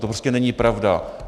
To prostě není pravda.